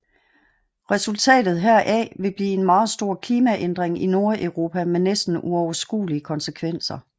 Resultatet heraf ville blive en meget stor klimaændring i Nordeuropa med næsten uoverskuelige konsekvenser